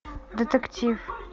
детектив